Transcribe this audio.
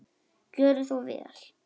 Gjörið svo vel!